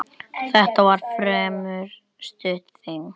Þetta var fremur stutt þing.